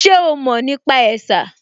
Ṣe o mọ̀ nípa ẹ̀sà?